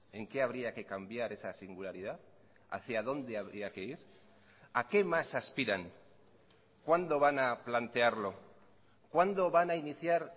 en qué habría que cambiar esa singularidad hacia dónde habría que ir a qué más aspiran cuándo van a plantearlo cuándo van a iniciar